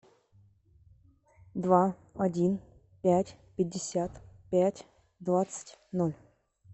два один пять пятьдесят пять двадцать ноль